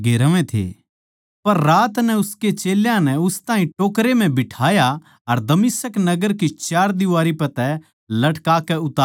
पर रात नै उसके चेल्यां नै उस ताहीं टोकरै म्ह बिठाया अर दमिश्क नगर की चारदीवारी पै तै लटकाकै उतार दिया